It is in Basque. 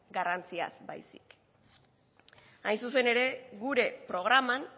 garrantziaz baizik hain zuzen ere gure programan